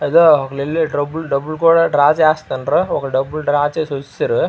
ఇదిగో డబ్బులు కూడా డ్రా చేస్తుండ్రు. ఒకరు డబ్బులు డ్రా చేసి వచ్చిసిండ్రు.